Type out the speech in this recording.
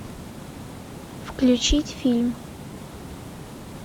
включить фильм